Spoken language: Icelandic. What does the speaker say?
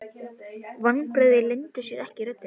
Vonbrigðin leyndu sér ekki í röddinni.